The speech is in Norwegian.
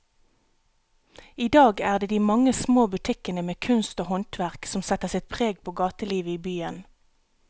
I dag er det de mange små butikkene med kunst og håndverk som setter sitt preg på gatelivet i byen.